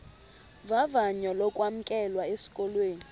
vavanyo lokwamkelwa esikolweni